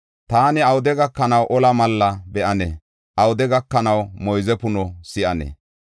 Taani awude gakanaw ola malla be7anee? Awude gakanaw moyze puno si7anee?